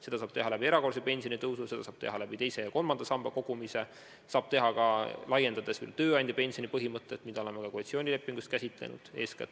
Seda saab teha erakorralise pensionitõusu abil, seda saab teha teise ja kolmanda samba kogumise abil, saab teha ka, laiendades tööandjapensioni maksmist, mida oleme ka koalitsioonilepingus käsitlenud.